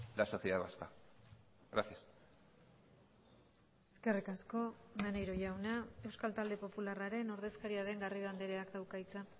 la sociedad vasca gracias eskerrik asko maneiro jauna euskal talde popularraren ordezkaria den garrido andreak dauka hitza